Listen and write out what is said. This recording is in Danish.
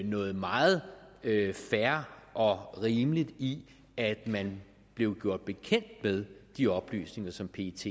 noget meget fair og rimeligt i at man blev gjort bekendt med de oplysninger som pet